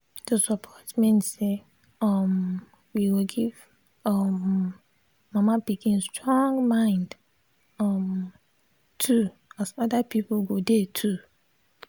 to support mean say um we go give um mama pikin strong mind um too as other people go dey too.